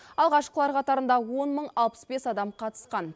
алғашқылар қатарында он мың алпыс бес адам қатысқан